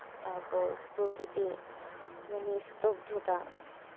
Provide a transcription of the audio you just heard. তারপর প্রকৃতি মানে নিস্তব্ধতা